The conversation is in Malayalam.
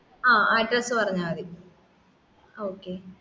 ആ address പറഞ്ഞാമതി okay